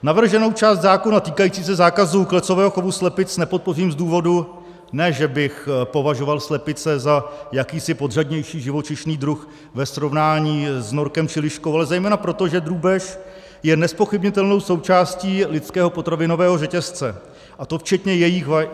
Navrženou část zákona týkající se zákazu klecového chovu slepic nepodpořím z důvodu, ne že bych považoval slepice za jakýsi podřadnější živočišný druh ve srovnání s norkem či liškou, ale zejména proto, že drůbež je nezpochybnitelnou součástí lidského potravinového řetězce, a to včetně jejích vajec.